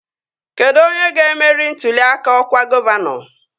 Kedụ onye ga-emeri ntụli aka ọkwa gọvanọ?